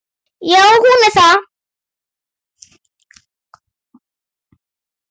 Já, hún er það.